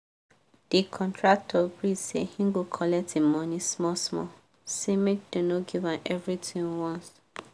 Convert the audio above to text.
the contractor gree say he go collect him money small small say make dem no give am everythin once